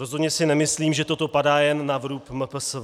Rozhodně si nemyslím, že toto padá jen na vrub MPSV.